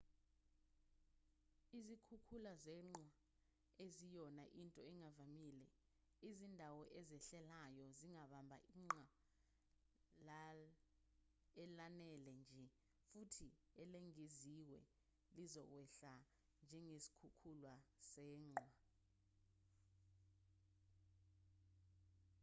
izikhukhula zeqhwa aziyona into engavamile izindawo ezehlelayo zingabamba iqhwa elanele nje futhi elengeziwe lizokwehla njengesikhukhula seqhwa